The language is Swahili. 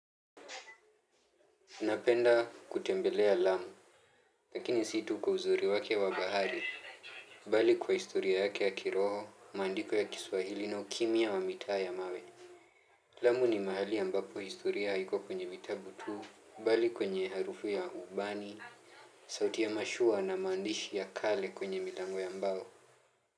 Napenda kutembelea lamu, lakini situ kwa uzuri wake wa bahari, bali kwa historia yake ya kiroho, maandiko ya kiswahili na ukimya wa mitaa ya mawe. Lamu ni mahali ambapo historia haiko kwenye vitabu tu, bali kwenye harufu ya ubani, sauti ya mashua na maandishi ya kale kwenye milango ya mbao.